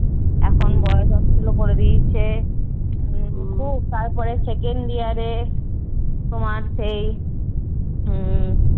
এখন Boys hostel ও করে দিয়েছে। খুব তারপরে second year এ তোমার সেই উম